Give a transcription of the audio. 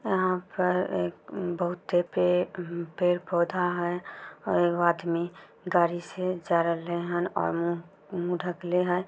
यहाँ पर एक बहुते पे पेड़ पौधा है और आदमी गाड़ी से जरेले हन और मुँह-मुँह ढक्ले हय।